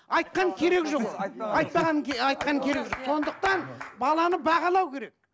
айтқан керек жоқ ол керек жоқ сондықтан баланы бағалау керек